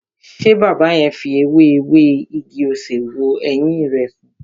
Ṣé baba yẹn fi ewé ewé igi-osè wo ẹyin rẹ san?